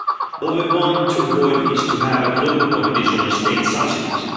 What we want to avoid is having global competition on state subsidies.